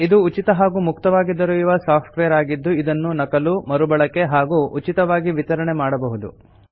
ಇದು ಉಚಿತ ಹಾಗೂ ಮುಕ್ತವಾಗಿ ದೊರೆಯುವ ಸಾಫ್ಟ್ ವೇರ್ ಆಗಿದ್ದು ಇದನ್ನು ನಕಲು ಮರುಬಳಕೆ ಹಾಗೂ ಉಚಿತವಾಗಿ ವಿತರಣೆ ಮಾಡಬಹುದು